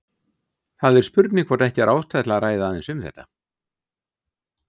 Það er spurning hvort ekki er ástæða til að ræða aðeins um þetta.